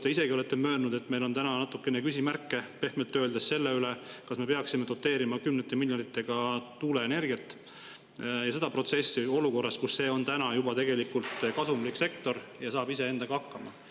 Te olete ise ka möönnud, et meil on täna pehmelt öeldes natukene küsimärke selles, kas me peaksime doteerima kümnete miljonitega tuuleenergiat ja seda protsessi olukorras, kus see on juba tegelikult kasumlik sektor ja saab ise endaga hakkama.